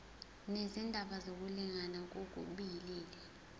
nezindaba zokulingana ngokobulili